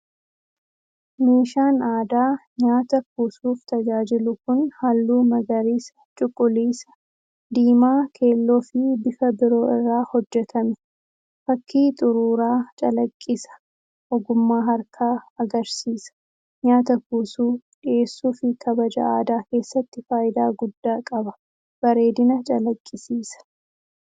Meeshaan aadaa nyaata kuusuuf tajaajilu kun halluu magariisa, cuquliisa, diimaa, keelloo fi bifa biroo irraa hojjetame. Fakkii xuruuraa calaqqisa, ogummaa harkaa agarsiisa. Nyaata kuusuu, dhiyeessuu fi kabaja aadaa keessatti faayidaa guddaa qaba, bareedina calaqqisiisa.